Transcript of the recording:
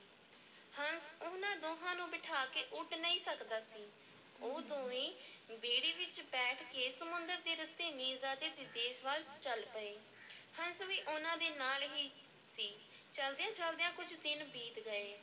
ਹੰਸ ਉਹਨਾਂ ਦੋਂਹਾਂ ਨੂੰ ਬਿਠਾ ਕੇ ਉੱਡ ਨਹੀਂ ਸਕਦਾ ਸੀ, ਉਹ ਦੋਵੇਂ ਬੇੜੀ ਵਿੱਚ ਬੈਠ ਕੇ ਸਮੁੰਦਰ ਦੇ ਰਸਤੇ ਮੀਰਜ਼ਾਦੇ ਦੇ ਦੇਸ ਵੱਲ ਚੱਲ ਪਏ, ਹੰਸ ਵੀ ਉਹਨਾਂ ਦੇ ਨਾਲ ਹੀ ਸੀ, ਚੱਲਦਿਆਂ-ਚੱਲਦਿਆਂ ਕੁਝ ਦਿਨ ਬੀਤ ਗਏ।